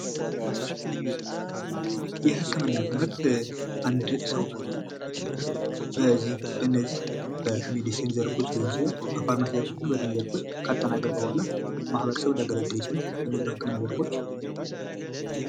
የህክምና ትምህርት አንድ ሰው በነዚህ በዚህ ሜዲስን ዘርፎች ሊሆኑ በፋርማሲ ወይም በጤና ዘርፍ ካጠናቀቀ በኋላ ማህበረሰቡን ሊያገለግል ይችላል።